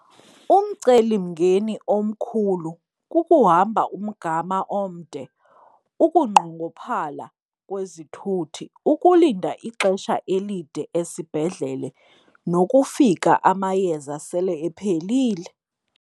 Umcelimngeni omkhulu kukuhamba umgama omde, ukunqongophala kwezithuthi, ukulinda ixesha elide esibhedlele nokufika amayeza sele ephelile.